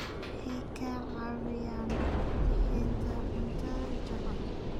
Waxay ka caawiyaan bixinta cunto jaban.